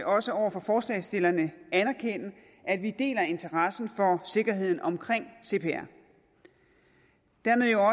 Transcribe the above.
også over for forslagsstillerne anerkende at vi deler interessen for sikkerheden omkring cpr dermed jo